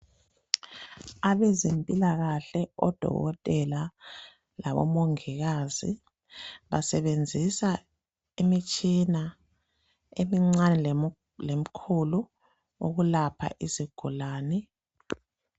Abezempilakahle odokotela labomongikazi basebenzisa imitshina emincane lemikhulu ukulapha izigulane.